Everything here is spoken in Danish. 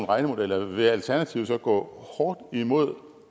regnemodeller vil alternativet så gå hårdt imod